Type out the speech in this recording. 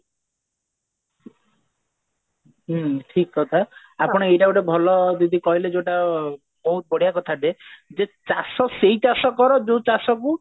ହୁଁ ଠିକ କଥା ଆପଣ ଏଇଟା ଗୋଟେ ଭଲ ଦିଦି କହିଲେ ଯୋଉଟା ବହୁତ ବଢିଆ କଥା ଟେ ଯେ ଚାଷ ସେଇ ଚାଷ କର ଯୋଉ ଚାଷ କୁ